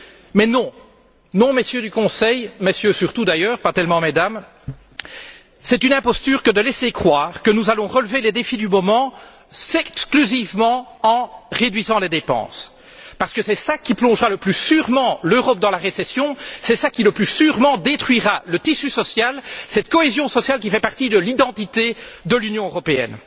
Mais non, Messieurs du Conseil Messieurs surtout d'ailleurs, pas tellement Mesdames c'est une imposture que de laisser croire que nous allons relever les défis du moment exclusivement en réduisant les dépenses, parce que c'est cela qui plongera le plus sûrement l'Europe dans la récession, c'est cela qui, le plus sûrement, détruira le tissu social, cette cohésion sociale qui fait partie de l'identité de l'Union européenne.